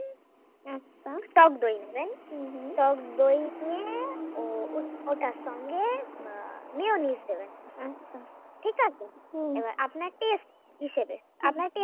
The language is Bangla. টক দই নেবেন টক দই দিয়ে ওঠার সঙ্গে আহ mayonnaise দেবেন। , ঠিক আছে? এবার আপনাকে taste হিসাবে আপনাকে